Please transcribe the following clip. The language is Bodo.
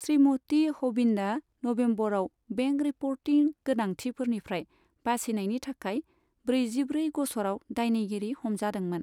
श्रीमती हभिन्दआ नभेम्बराव बेंक रिपर्टिं गोनांथिफोरनिफ्राय बासिनायनि थाखाय ब्रैजिब्रै गस'राव दायनिगिरि हमजादोंमोन।